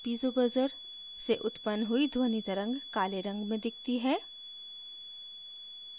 piezo buzzer से उत्पन्न हुई ध्वनि तरंग काले रंग में दिखती है